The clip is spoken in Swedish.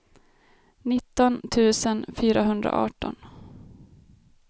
nitton tusen fyrahundraarton